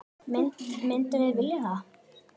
Myndum við vilja það?